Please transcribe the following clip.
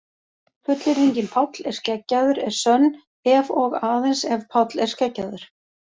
Fullyrðingin Páll er skeggjaður er sönn ef og aðeins ef Páll er skeggjaður.